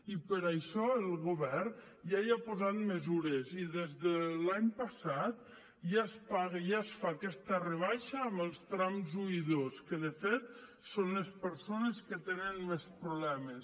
i per això el govern ja hi ha posat mesures i des de l’any passat ja es paga ja es fa aquesta rebaixa en els trams un i dos que de fet són les persones que tenen més problemes